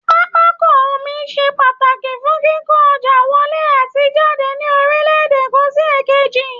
Pápákọ omi ṣe pàtàkí fún kíkó ọjà wọlé àti jàdé ní orílẹ̀ èdè kan sí èkejì